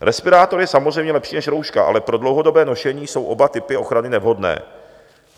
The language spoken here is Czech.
Respirátor je samozřejmě lepší než rouška, ale pro dlouhodobé nošení jsou oba typy ochrany nevhodné.